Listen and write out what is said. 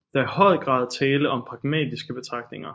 Der er i høj grad tale om pragmatiske betragtninger